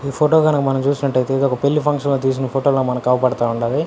ఈ ఫోటో గనక మనం చూసినట్టైతే ఇదొక పెళ్లి ఫంక్షన్ లో తీసిన ఫోటో ల మనకి అవుపడతా ఉండాది.